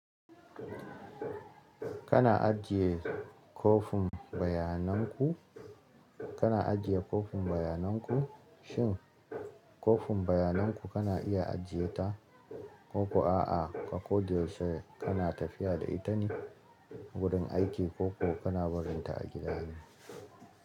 Kana ajiye kofin bayanan ku? Kana ajiye kofin bayanan ku? Shin kofin bayanan ku kana iya ajiye ta,? Ko kuwa a'a, ka ko da yaushe kana tafiya da ita ne wurin aiki ko kuma kana barinta a gida ne.